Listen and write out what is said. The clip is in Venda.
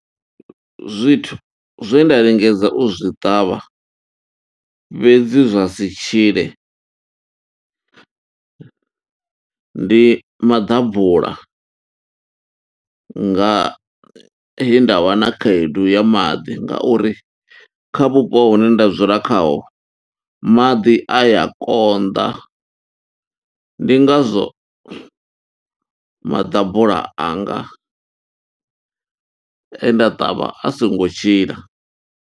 Zwithu zwe nda lingedza u zwi ṱavha fhedzi zwa si tshile, ndi maḓabula. Nga he nda wa na khaedu ya maḓi, ngauri kha vhupo hune nda dzula khaho, maḓi a ya konḓa. Ndi ngazwo maḓabula anga, e nda ṱavha a songo tshila.